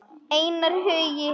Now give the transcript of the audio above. Einar Hugi.